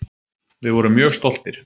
Við vorum mjög stoltir.